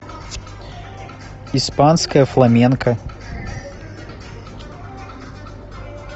испанское фламенко